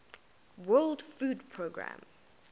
world food programme